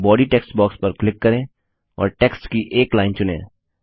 body text box पर click करें और टेक्स्ट की एक लाइन चुनें